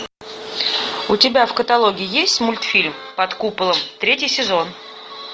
у тебя в каталоге есть мультфильм под куполом третий сезон